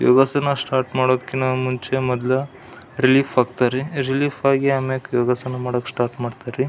ಯೋಗಾಸನ start ಮಾದೋದ್ಕಿಂಥ ಮುಂಚೆ ಮೊದಲು ರಿಲೀಫ್ ಆಗ್ತಾರೆ ರಿಲೀಫ್ ಆಗಿ ಆಮ್ಯಾಕ್ ಯೋಗಾಸನ ಮಾಡೋಕ್ ಸ್ಟಾರ್ಟ್ ಮಾಡ್ತರ್ ರೀ.